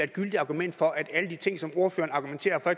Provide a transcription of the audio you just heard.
gyldigt argument for at alle de ting som ordføreren argumenterer for